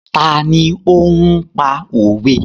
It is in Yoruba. Ta ni ó ń pa òwe?